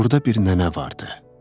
Burda bir nənə vardı.